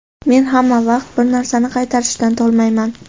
Men hamma vaqt bir narsani qaytarishdan tolmayman.